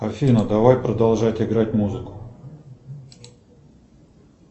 афина давай продолжать играть музыку